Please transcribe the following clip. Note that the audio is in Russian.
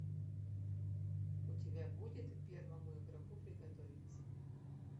у тебя будет первому игроку приготовиться